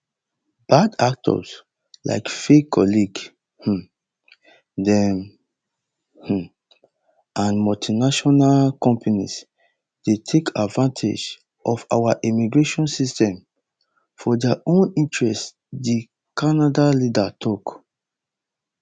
bad actors like fake college um dem um and multinational companies dey take advantage of our immigration system for dia own interest di canada leader tok